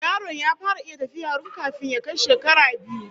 Yaron ya fara iya tafiya run kafin ya kai shekara biyu